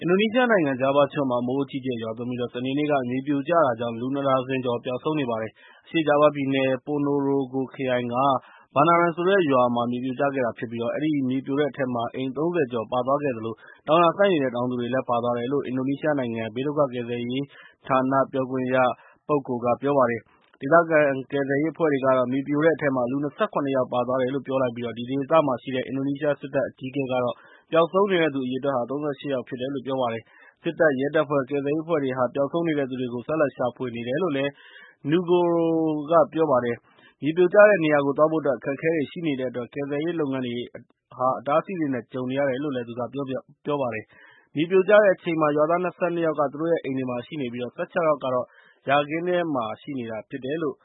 အင်ဒိုနီးရှားနိုင်ငံ ဂျာဗားကျွန်းမှာ မိုးအကြီးအကျယ်ရွာသွန်းပြီး စနေနေ့က မြေပြိုကျတာကြောင့်၊ လူ ၂ ဒါဇင်ကျော် ပျောက်ဆုံးနေပါတယ်။ အရှေ့ဂျားဗားပြည်နယ် ပိုနိုရိုဂိုခရိုင်က ဘာနာရန် ဆိုတဲ့ရွာမှာ မြေပြိုကျခဲ့တာဖြစ်ပြီး၊ အဲဒီမြေပြိုတဲ့အထဲမှာ အိမ် ၃၀ ကျော်ပါသွားခဲ့သလို၊ တောင်ယာစိုက်နေတဲ့ တောင်သူတွေလည်း ပါသွားတယ်လို့ အင်ဒိုနီးရှားနိုင်ငံရဲ့ဘေးဒုက္ခကယ်ဆယ်ရေးဌာန ပြောခွင့်ရ Sutopo Purwo Nugroho က ပြောပါတယ်။ ဒေသခံကယ်ဆယ်ရေးအဖွဲ့တွေကတော့ - မြေပြိုတဲ့အထဲမှာ လူ ၂၇ ယောက်ပါသွားတယ်လို့ ပြောကြားလိုက်ပြီး၊ အဲဒီဒေသမှာရှိတဲ့ အင်ဒိုနီးရှားစစ်တပ်အကြီးအကဲကတော့ ပျောက်ဆုံးနေတဲ့သူ အရေအတွက်ဟာ ၃၈ ယောက်ရှိတယ်လို့ ပြောပါတယ်။ စစ်တပ် ၊ ရဲတပ်ဖွဲ့ နဲ့ ကယ်ဆယ်ရေးအဖွဲ့တွေက ပျောက်ဆုံးနေတဲ့သူတွေကို ဆက်လက်ရှာဖွေနေတယ်လို့ Nugroho က ပြောပါတယ်။ မြေပြိုကျတဲ့နေရာကိုသွားဖို့အတွက် အခက်အခဲတွေရှိနေတဲ့အတွက် ကယ်ဆယ်ရေးလုပ်ငန်းတွေ အတားအဆီးတွေနဲ့ ကြုံနေရတယ်လို့ သူကပြောပါတယ်။ မြေပြိုကျတဲ့အချိန်မှာ ရွာသား ၂၂ ယောက်က သူတို့ရဲ့ အိမ်တွေမှာရှိနေပြီး၊ ၁၆ ယောက်ကတော့ ယာခင်းထဲမှာ ဂျင်းစိုက်နေတုန်း မြေပြိုကျခဲ့တာဖြစ်တယ်လို့